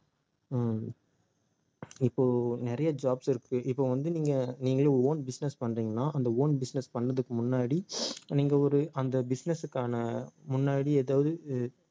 உம் இப்போ நிறைய jobs இருக்கு இப்போ வந்து நீங்க நீங்களே own business பண்றீங்கன்னா அந்த own business பண்றதுக்கு முன்னாடி நீங்க ஒரு அந்த business க்கான முன்னாடி ஏதாவது